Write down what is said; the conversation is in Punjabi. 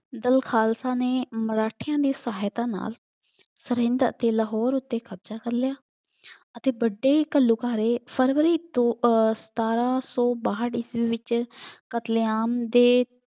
ਦਲ ਖਾਲਸਾ ਨੇ ਮਰਾਠਿਆਂ ਦੀ ਸਹਾਇਤਾ ਨਾਲ ਸਰਹਿੰਦ ਅਤੇ ਲਾਹੌਰ ਉੱਤੇ ਕਬਜ਼ਾ ਕਰ ਲਿਆ ਅਤੇ ਵੱਡੇ ਘੱਲੂਘਾਰੇ ਫਰਵਰੀ ਤੋਂ ਅਹ ਸਤਾਰਾਂ ਸੌ ਬਾਹਠ ਈਸਵੀ ਵਿੱਚ ਕਤਲੇਆਮ ਦੇ